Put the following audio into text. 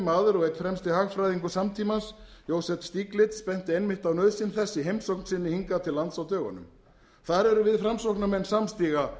maður og einn fremsti hagfræðingur samtímans joseph stiglitz benti einmitt á nauðsyn þess í heimsókn sinni hingað til lands á dögunum þar erum við framsóknarmenn ósamstiga